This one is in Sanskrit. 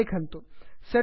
सेट् अप् पूर्णं भवति